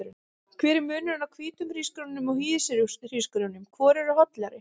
Hver er munurinn á hvítum hrísgrjónum og hýðishrísgrjónum, hvor eru hollari?